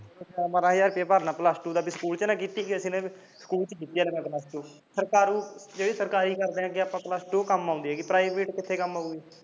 ਬਾਰਾਂ ਹਜਾਰ ਭਰਨਾ ਪਊ ਪਲਸ ਟੂ ਸਕੂਲ ਚ ਨਾ ਕੀਤੀ ਜਿਹੜੇ ਸਰਕਾਰੂ ਲੈ ਕਿ ਆਪਣੀ ਪਲਸ ਟੂ ਕੰਮ ਆਉਂਦੀ ਐ ਪ੍ਰਾਈਵੇਟ ਕਿੱਥੇ ਕੰਮ ਆਉਂਦੀ ਐ